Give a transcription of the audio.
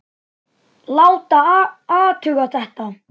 Láta athuga þetta.